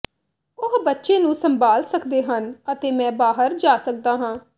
ਉਹ ਬੱਚੇ ਨੂੰ ਸੰਭਾਲ ਸਕਦੇ ਹਨ ਅਤੇ ਮੈਂ ਬਾਹਰ ਜਾ ਸਕਦਾ ਹਾਂ